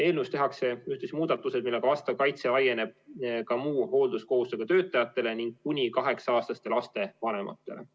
Eelnõus tehakse ühtlasi muudatused, millega vastav kaitse laieneb ka muu hoolduskohustusega töötajatele ning kuni 8-aastaste laste vanematele.